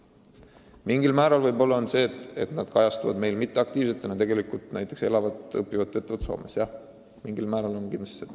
Mingil määral on põhjuseks võib-olla see, et osa noori kajastub meil mitteaktiivsetena, aga tegelikult nad näiteks elavad-õpivad-töötavad Soomes.